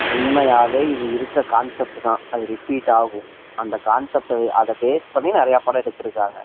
உண்மையாவே இதுல இருக்கிற கான்செப்ட் தான் அது ரிபீட் ஆகும் அதை பேஸ் பண்ணி நிறைய படம் எடுத்து இருக்காங்க